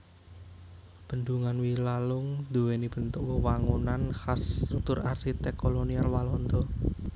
Bendhungan Wilalung duwéni bentuk wewangunan khas struktur arsitek kolonial Walanda